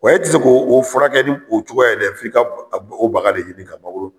Wa i ti se k'o o furakɛ ni o cogoya ye dɛ f'i ka b a b o baga de ɲini ka mangoro